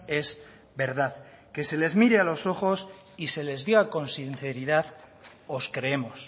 es verdad que se les mire a los ojos y se les diga con sinceridad os creemos